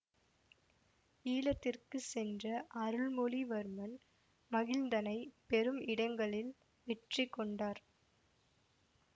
ஈழத்திற்கு சென்ற அருள்மொழிவர்மன் மகிந்தனை பெரும் இடங்களில் வெற்றி கொண்டார்